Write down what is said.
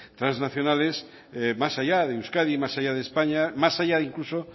trasnacionales más allá de euskadi más allá de españa más allá incluso